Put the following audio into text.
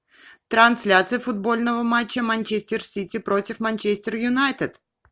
трансляция футбольного матча манчестер сити против манчестер юнайтед